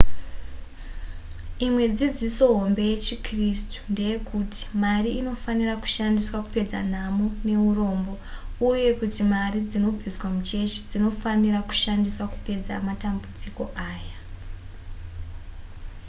imwe dzidziso hombe yechikristu ndeyekuti mari inofanira kushandiswa kupedza nhamo neurombo uye kuti mari dzinobviswa muchechi dzinofanira kushandiswa kupedza matambudziko aya